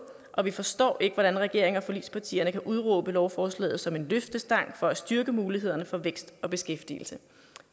og vi forstår ikke hvordan regeringen og forligspartierne kan udråbe lovforslaget som en løftestang for at styrke mulighederne for vækst og beskæftigelse